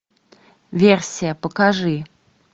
версия покажи